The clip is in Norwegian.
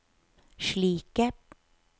slike